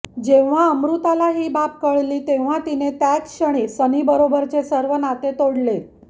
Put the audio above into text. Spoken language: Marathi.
जेव्हा अमृताला ही बाब कळाली तेव्हा तिने त्याच क्षणी सनीबरोबरचे सर्व नाते तोडले